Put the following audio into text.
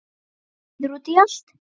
Reiður út í allt.